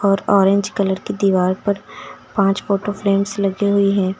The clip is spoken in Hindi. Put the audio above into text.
और ऑरेंज कलर की दीवार पर पांच फोटो फ्रेम्स लगी हुई हैं।